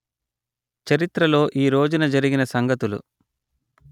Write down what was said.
చరిత్రలో ఈ రోజున జరిగిన సంగతులు